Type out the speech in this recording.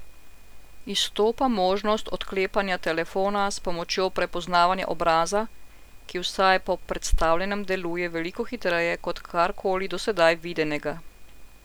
Izstopa možnost odklepanja telefona s pomočjo prepoznavanja obraza, ki vsaj po predstavljenem deluje veliko hitreje kot karkoli do sedaj videnega.